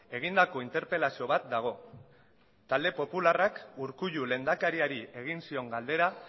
egindako interpelazio bat dago talde popularrak urkullu lehendakariari egin zion galdera